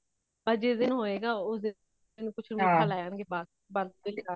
ਆ ਜਿਸ ਦਿਨ ਹੋਇਗਾ ਉਸ ਦਿਨ ਕੁਛ ਮਿੱਠਾ ਲੈ ਆਉਣਗੇ ਬੱਸ ਬੱਸ ਹੋ ਗਯਾ